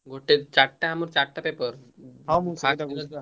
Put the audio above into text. ଗୋଟେ ଚରିଟା ଚରିଟା paper ।